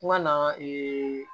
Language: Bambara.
Kuma na